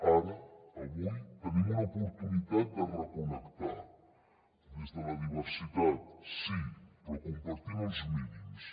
ara avui tenim una oportunitat de reconnectar des de la diversitat sí però compartint ne uns mínims